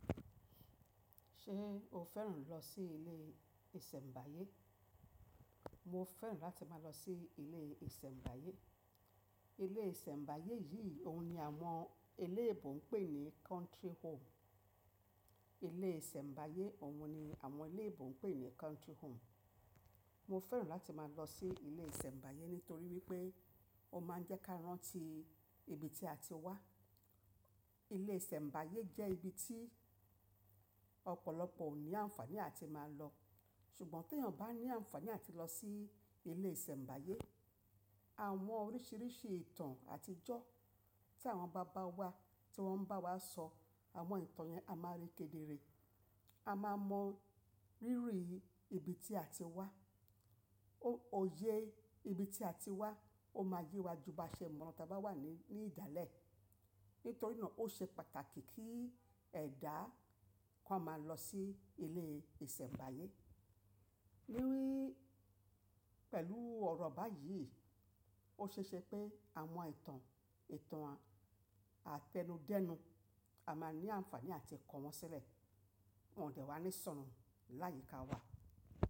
Ṣé o fẹ́ràn lọ sí ilé ìsẹ̀mbáyé? Mo fẹ́ràn láti máa lọ sí ilé ìsẹ̀mbáyé. Ilé ìsẹ̀mbáyé yìí òun ni àwọn eléèbo ń pè ní country home. Ilé ìsẹ̀mbáyé òun ni àwọn eléèbo ń pè ní country home. Mo fẹ́ràn láti máa lọ sí ilé ìsẹ̀mbáyé nítorí wípé ó máa ń jẹ́ ká rántí ibi tí a ti wá. Ilé ìsẹ̀mbáyé jẹ́ ibi tí ọ̀pọ̀lọpọ̀ ò ní àǹfaàní àti máa lọ, ṣùgbọ́n teyàn bá ní àǹfaàní àti lọ sí ilé ìsẹ̀mbáyé, àwọn oríṣìíríṣìí ìtàn àtijọ́ tí àwọn bàbá wa tí wọ́n ń bá wa sọ àwọn ìtàn yẹn, a máa rí kedere. A máa mọ rírìí ibi tí a ti wá. O óyé ibi tí a ti wá, ó máa yé wa ju baa ṣe mọ́ ta bá wà ní ní ìdálẹ̀. Nítorí náà ó ṣe pàtàkì kí ẹ̀dá kan máa lọ sí ilé ìsẹ̀mbáyé. Wíwi pẹ̀lú ọ̀rọ̀ báyìí, ó ṣeeṣẹ pé àwọn etàn, ìtàn àtẹnudẹ́nu a máa ní àǹfaàní àti kọ́ wọn sílẹ̀, wọ́n dẹ̀ wá ní sọnù láyiká wa.